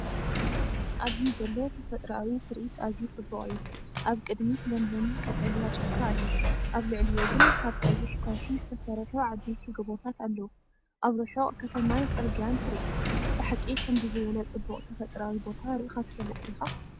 ኣብዚ ዘሎ ተፈጥሮኣዊ ትርኢት ኣዝዩ ጽቡቕ እዩ። ኣብ ቅድሚት ለምለም ቀጠልያ ጫካ ኣሎ፣ ኣብ ልዕሊኡ ግን ካብ ቀይሕ ከውሒ ዝተሰርሑ ዓበይቲ ጎቦታት ኣለዉ። ኣብ ርሑቕ ከተማን ጽርግያን ትርኢ። ብሓቂ ከምዚ ዝበለ ጽቡቕ ተፈጥሮኣዊ ቦታ ርኢኻ ትፈልጥ ዲኻ?